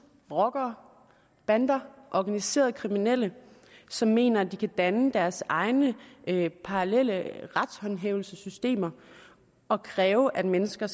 rockere bander organiserede kriminelle som mener at de kan danne deres egne parallelle retshåndhævelsessystemer og kræve at mennesker